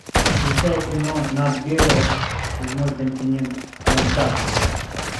включай кино нат гео седьмой континент антарктика